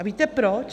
A víte proč?